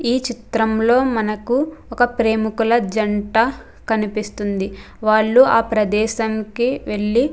ఈ చిత్రం లో మనకు ఒక ప్రేమికుల జంట కనిపిస్తుంది. వాళ్ళు ఆ ప్రదేశంకి వెళ్ళి --